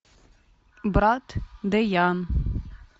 брат дэян